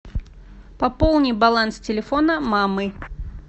пополни баланс телефона мамы